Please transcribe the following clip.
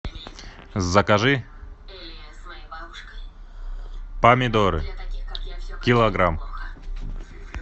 закажи помидоры килограмм